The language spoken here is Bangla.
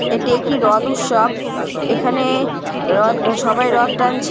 এটি একটি রদ উৎসব। এখানে-এ রথ সবাই রথ টানছে।